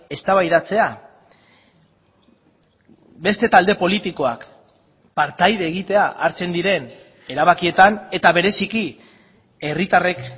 eztabaidatzea beste talde politikoak partaide egitea hartzen diren erabakietan eta bereziki herritarrek